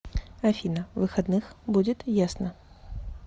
афина выходных будет ясно